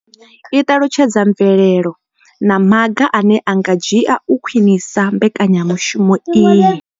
I ṱalutshedza mvelelo na maga ane a nga dzhiwa u khwinisa mbekanya mushumo iyi.